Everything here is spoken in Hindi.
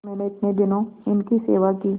मैंने इतने दिनों इनकी सेवा की